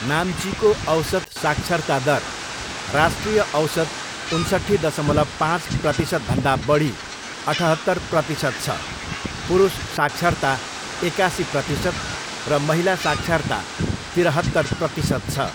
नाम्चीको औसत साक्षरता दर राष्ट्रिय औसत उन्सट्ठी दशमलव पाँच प्रतिशतभन्दा बढी अठहत्तर प्रतिशत छ, पुरुष साक्षरता एकासी प्रतिशत र महिला साक्षरता तिरहत्तर प्रतिशत छ।